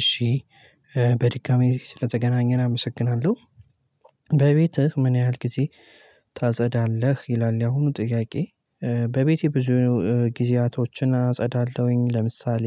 እሺ በድጋሚ ስለተገናኘን አመሰግናለሁ በቤትህ ምን ያህል ጊዜ ታጸዳለህ ይላል ያሁኑ ጥያቄ? በቤቴ ብዙ ጊዜያቶችን አጸዳለሁኝ። ለምሳሌ